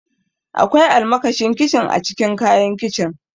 Akwai almakashin kincin a cikin kayan kicin.